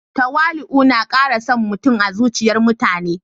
Tawali'u na kara son mutum a zuciyar mutane